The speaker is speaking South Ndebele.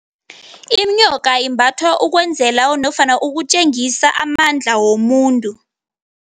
Inyoka imbathwa ukwenzela nofana ukutjengisa amandla womuntu.